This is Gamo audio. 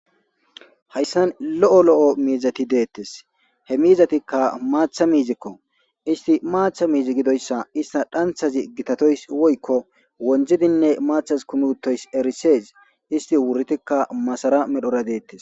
Haayssan lo'o lo'o miizati deettes he miizatikka maaththa miizikko issti maaththa miizi gidoyssa ista dhanthazi gitatoys woykko wondzdzidinne maathas kumi uttoys erisees isti wuritikka masara medhdhora deettes